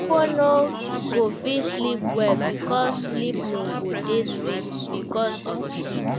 Pipo no go fit sleep well because sleep no go dey sweet because of di heat